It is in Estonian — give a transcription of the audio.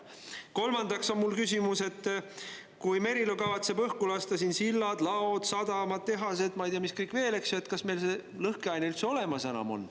Kolmandaks on mul küsimus, et Merilo kavatseb õhku lasta sillad, laod, sadamad, tehased ja ei tea, mis kõik veel, aga kas meil lõhkeainet üldse enam olemas on.